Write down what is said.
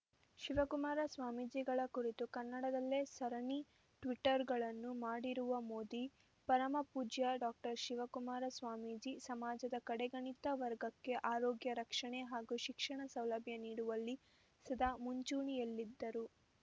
ಶಿವಕುಮಾರ ಸ್ವಾಮೀಜಿಗಳ ಕುರಿತು ಕನ್ನಡದಲ್ಲೇ ಸರಣಿ ಟ್ವಿಟ್ಟರ್ ಗಳನ್ನು ಮಾಡಿರುವ ಮೋದಿ ಪರಮಪೂಜ್ಯ ಡಾಕ್ಟರ್ ಶಿವಕುಮಾರ ಸ್ವಾಮೀಜಿ ಸಮಾಜದ ಕಡೆಗಣಿತ ವರ್ಗಕ್ಕೆ ಆರೋಗ್ಯ ರಕ್ಷಣೆ ಹಾಗೂ ಶಿಕ್ಷಣ ಸೌಲಭ್ಯ ನೀಡುವಲ್ಲಿ ಸದಾ ಮುಂಚೂಣಿಯಲ್ಲಿದ್ದರು